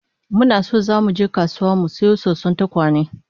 Muna so zamu je kasuwa mu sayo soson tekawe